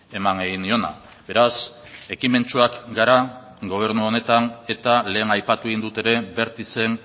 eman egin niona beraz ekimentsuak gara gobernu honetan eta lehen aipatu egin dut ere bertizen